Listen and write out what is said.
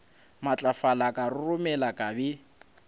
matlafala ka roromela ka be